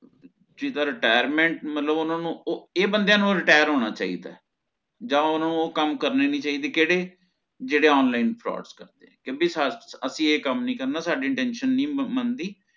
ਜਿਦਾ retirement ਮਤਲਬ ਓਹਨਾ ਨੂੰ ਇਹ ਬੰਦੇਯਾ ਨੂ retire ਹੋਣਾ ਚਾਹਿਦਾ ਯਾ ਓਹਨਾ ਨੂ ਓਹ ਕਾਮ ਕਰਨੇ ਨੀ ਚਾਹੀਦੇ ਕਿਹੜੇ ਜੇਹੜੇ online frauds ਕਰਦੇ ਹੈ ਭੀ ਅਸੀ ਇਹ ਕਾਮ ਨੀ ਕਰਨਾ ਸਾਡੀ ਇਹ intentions ਨੀ ਮੰਦੀ